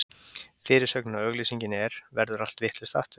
Fyrirsögnin á auglýsingunni er: Verður allt vitlaust, aftur?